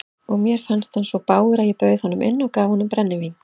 Og mér fannst hann svo bágur að ég bauð honum inn og gaf honum brennivín.